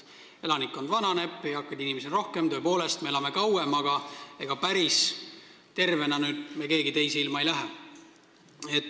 Elanikkond vananeb, eakaid inimesi on rohkem ja tõepoolest me elame kauem, aga ega päris tervena meist keegi teise ilma ei lähe.